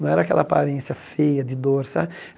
Não era aquela aparência feia de dor, sabe?